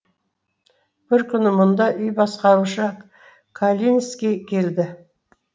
бір күні мұнда үй басқарушы калинский келді